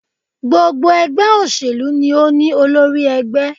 Gbogbo ègbé òṣèlú ni o ní olórí egbé